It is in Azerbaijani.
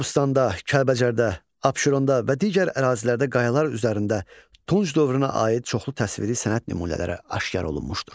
Qobustanda, Kəlbəcərdə, Abşeronda və digər ərazilərdə qayalar üzərində tunç dövrünə aid çoxlu təsviri sənət nümunələri aşkar olunmuşdur.